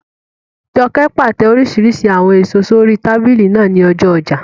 Jọkẹ́ pàtẹ oríṣiríṣi àwọn èèso sórí tábìlì náà ní ọjọ́ ọjà